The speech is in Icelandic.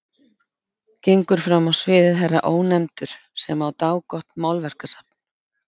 Gengur fram á sviðið herra Ónefndur sem á dágott málverkasafn.